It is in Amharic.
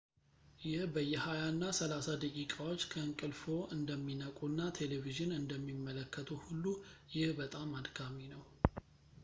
ይህ በየሃያ እና ሰላሳ ደቂቃዎች ከእንቅልፍዎ እንደሚነቁ እና ቴሌቪዥን እንደሚመለከቱ ሁሉ ይህ በጣም አድካሚ ነው